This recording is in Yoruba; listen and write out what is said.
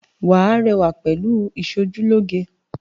Wàá rẹwà pẹ̀lú ìsojúlóge